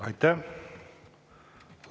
Aitäh!